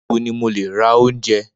Nibo ni mo le ra ounjẹ?